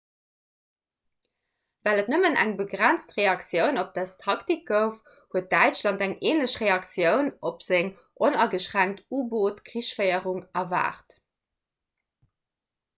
well et nëmmen eng begrenzt reaktioun op dës taktik gouf huet däitschland eng änlech reaktioun op seng onageschränkt u-boot-krichsféierung erwaart